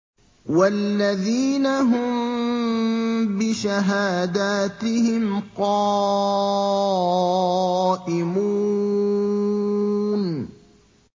وَالَّذِينَ هُم بِشَهَادَاتِهِمْ قَائِمُونَ